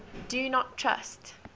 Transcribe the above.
do not trust